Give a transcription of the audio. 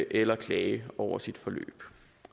eller klage over sit forløb